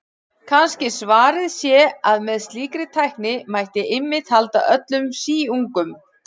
Kannski svarið sé að með slíkri tækni mætti einmitt halda öllum síungum.